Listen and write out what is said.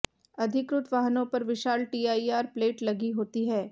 अधिकृत वाहनों पर विशाल टीआईआर प्लेट लगी होती हैं